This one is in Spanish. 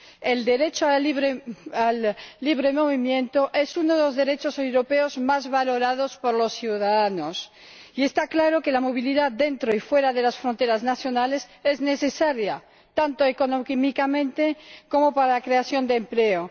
El derecho a la libre circulación es uno de los derechos europeos más valorados por los ciudadanos y está claro que la movilidad, dentro y fuera de las fronteras nacionales, es necesaria, tanto económicamente como para la creación de empleo.